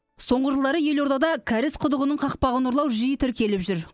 соңғы жылдары елордада кәріз құдығының қақпағын ұрлау жиі тіркеліп жүр